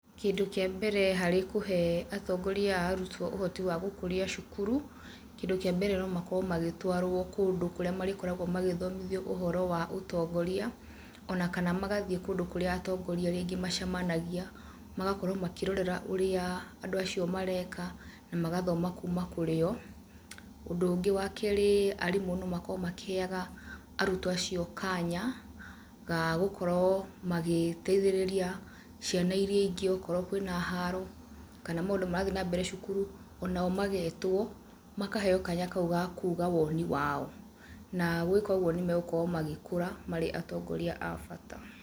Kĩndũ kĩa mbere harĩ kũhe atongoria a arutwo ũhoti wa gũkũria cukuru, kĩndũ kĩa mbere no makorwo magĩtwarwo kũndũ kũrĩa marĩkoragwo magĩthomithio ũhoro wa ũtongoria, ona kana magathiĩ kũndũ kũrĩa atongoria rĩngĩ macemanagia, magakorwo makĩrorera ũrĩa andũ acio mareka, na magathoma kuma kũrĩo, ũndũ ũngĩ wa keri arimũ no makorwo makĩheyaga arutwo acio kanya, gagũkorwo magĩteithĩrĩria ciana iria ingĩ okorwo kwĩna haro, kana maũndũ marathiĩ na mbere cukuru, onao magetwo, makaheyo kanya kau gakuga woni wao, na gwĩka ũguo nĩ megũkorwo magĩkũra marĩ atongoria abata.